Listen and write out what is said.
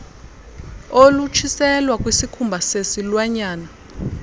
olutshiselwa kwisikhumba sesilwanyana